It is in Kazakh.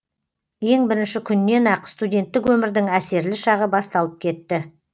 ең бірінші күннен ақ студенттік өмірдің әсерлі шағы басталып кетті